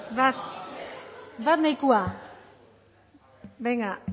bat nahikoa bozkatu dezakegu